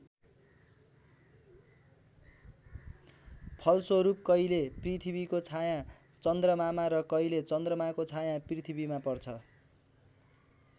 फलस्वरूप कहिले पृथ्वीको छायाँ चन्द्रमामा र कहिले चन्द्रमाको छायाँ पृथ्वीमा पर्छ।